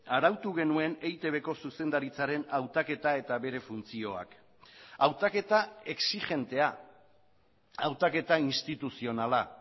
arautu genuen eitbko zuzendaritzaren hautaketa eta bere funtzioak hautaketa exijentea hautaketa instituzionala